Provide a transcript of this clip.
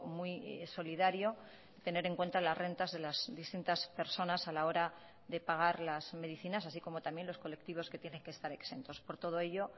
muy solidario tener en cuenta las rentas de las distintas personas a la hora de pagar las medicinas así como también los colectivos que tienen que estar exentos por todo ello